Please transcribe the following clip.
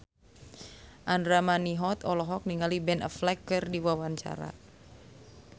Andra Manihot olohok ningali Ben Affleck keur diwawancara